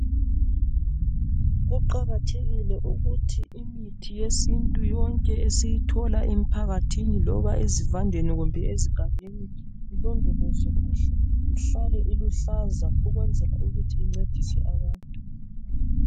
Kuqakathekile ukuthi imithi yesintu yonke esiyithola emphakathini loba ezivandeni kumbe ezigangeni ilondolozwe kuhle ihlale iluhlaza ukwenzela ukuthi incedise abantu